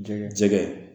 Jɛgɛ